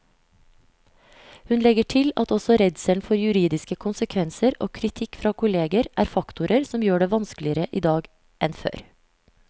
Hun legger til at også redselen for juridiske konsekvenser og kritikk fra kolleger er faktorer som gjør det vanskeligere i dag enn før.